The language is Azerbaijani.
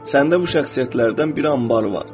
Səndə bu şəxsiyyətlərdən bir anbar var.